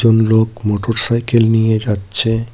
কোন লোক মোটরসাইকেল নিয়ে যাচ্ছে।